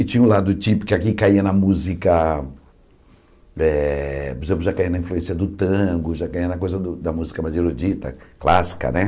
E tinha um lado típico, que aqui caía na música, eh por exmplo já caía na influência do tango, já caía na coisa da música mais erudita, clássica, né?